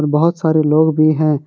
बहुत सारे लोग भी हैं।